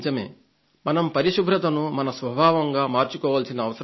మనం పరిశుభ్రతను మన స్వభావంగా మార్చుకోవాల్సిన అవసరం ఉంది